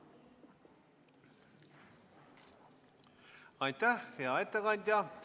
Aitäh, hea ettekandja!